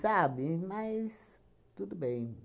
Sabe, mas tudo bem.